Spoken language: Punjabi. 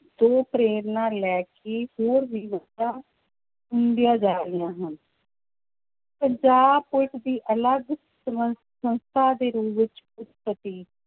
ਤੋਂ ਪ੍ਰੇਰਨਾ ਲੈ ਕੇ ਹੋਰ ਵੀ ਜਾ ਰਹੀਆਂ ਹਨ ਪੰਜਾਬ ਪੁਲਿਸ ਦੀ ਅਲੱਗ ਸੰਮ~ ਸੰਸਥਾ ਦੇ ਰੂਪ ਵਿੱਚ ਉਤਪਤੀ